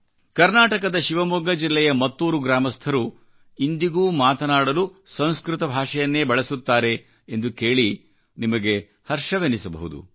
ಕರ್ನಾಟಕದ ಶಿವಮೊಗ್ಗ ಜಿಲ್ಲೆಯ ಹೊಸಳ್ಳಿ ಮತ್ತೂರು ಗ್ರಾಮಸ್ಥರುಇಂದಿಗೂ ಮಾತಾಡಲು ಸಂಸ್ಕೃತ ಭಾಷೆಯನ್ನೇ ಬಳಸುತ್ತಾರೆ ಎಂದು ಕೇಳಿ ನಿಮಗೆ ಹರ್ಷವೆನಿಸಬಹುದು